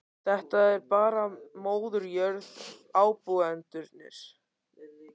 Þetta er bara móðir jörð og ábúendurnir.